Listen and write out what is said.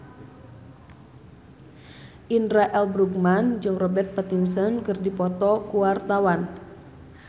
Indra L. Bruggman jeung Robert Pattinson keur dipoto ku wartawan